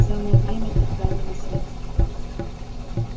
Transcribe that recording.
самое время для крайнего средства